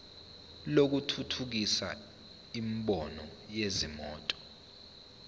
lokuthuthukisa imboni yezimoto